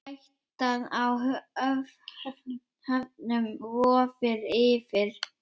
Hættan á höfnun vofir yfir.